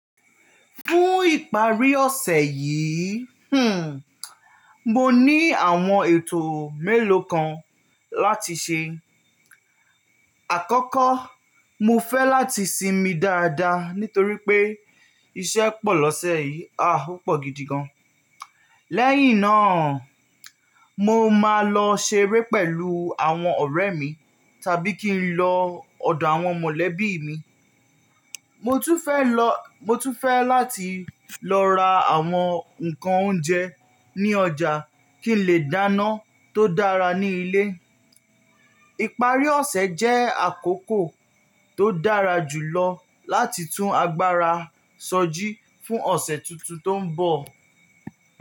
Fún ìparí ọ̀sẹ̀ yìí, hmm, mo ní àwọn ètò mélòó kan láti ṣe. Àkọ́kọ́, mo fẹ́ láti sinmi dáadáa nítorí pé iṣẹ́ pọ̀ lọ́sẹ̀ yìí, ah opọ̀ gidi gan. Lẹ́yìn náà, mo máa lọ ṣeré pẹ̀lú àwọn ọ̀rẹ́ mi tàbí kí n lọ ọ̀dọ̀ àwọn mọ̀lẹ́bí mi. Mo tún fẹ́ lọ, mo tún fẹ́ láti lọ ra àwọn ǹkan oúnjẹ ní ọjà kí n lè dáná tó dára ní ilé. Iparí ọ̀sẹ̀ jẹ́ àkókò tó dára jùlọ láti tún agbára sọjí fún ọ̀sẹ̀ tuntun tó ń bọ̀.